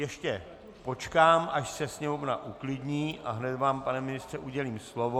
Ještě počkám, až se sněmovna uklidní, a hned vám, pane ministře, udělím slovo.